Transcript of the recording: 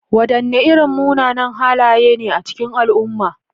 Wadanne irin munanan halaye ne a cikin al'umma?